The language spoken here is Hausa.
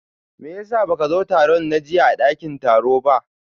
meyasa baka zo tarun na jiyya a dakin taro ba?